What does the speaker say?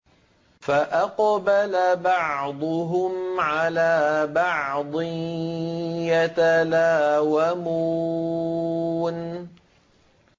فَأَقْبَلَ بَعْضُهُمْ عَلَىٰ بَعْضٍ يَتَلَاوَمُونَ